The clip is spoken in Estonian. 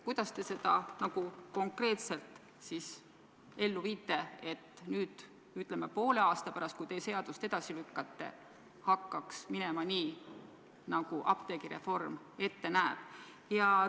Kuidas te seda konkreetselt ellu viite, et, ütleme, poole aasta pärast, kui te seaduse jõustumist edasi lükkate, hakkaks minema nii, nagu apteegireform ette näeb?